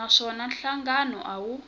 na swona nhlangano a wu